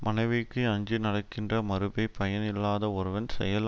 மனைவிக்கு அஞ்சி நடக்கின்ற மறுபைப் பயன் இல்லாத ஒருவன் செயல்